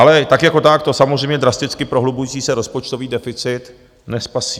Ale tak jako tak to samozřejmě drasticky prohlubující se rozpočtový deficit nespasí.